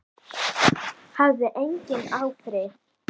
Það hafði engin áhrif.